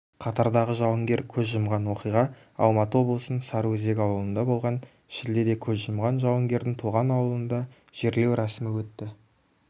қатардағы жауынгер көз жұмған оқиға алматы облысын сарыөзек ауылында болған шілдеде көз жұмған жауынгердің туған ауылында жерлеу рәсімі өтті